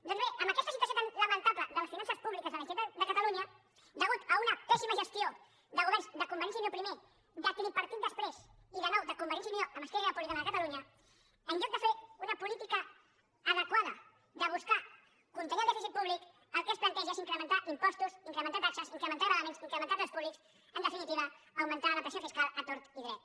doncs bé amb aquesta situació tan lamentable de les finances públiques de la generalitat de catalunya a causa d’una pèssima gestió de governs de convergència i unió primer del tripartit després i de nou de convergència i unió amb esquerra republicana de catalunya en lloc de fer una política adequada de buscar el fet de contenir el dèficit públic el que es planteja és incrementar impostos incrementar taxes incrementar gravàmens incrementar preus públics en definitiva augmentar la pressió fiscal a tort i a dret